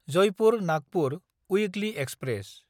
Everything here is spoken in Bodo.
जयपुर–नागपुर उइक्लि एक्सप्रेस